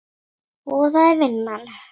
Og það er vinnan.